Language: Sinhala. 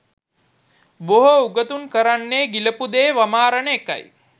බොහෝ උගතුන් කරන්නේ ගිලපු දේ වමාරන එකයි